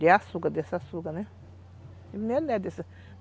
de açúcar, desse açúcar, né?